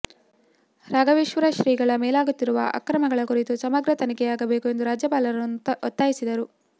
ರಾಘವೇಶ್ವರ ಶ್ರೀಗಳ ಮೇಲಾಗುತ್ತಿರುವ ಆಕ್ರಮಣಗಳ ಕುರಿತು ಸಮಗ್ರ ತನಿಖೆಯಾಗಬೇಕು ಎಂದು ರಾಜ್ಯಪಾಲರನ್ನು ಒತ್ತಯಿಸಿದರು